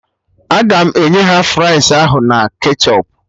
Aga m enye ha fries ahụ na ketchọp